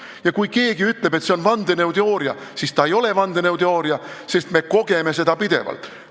Ja kui keegi ütleb, et see on vandenõuteooria, siis see ei ole vandenõuteooria, sest me kogeme seda pidevalt.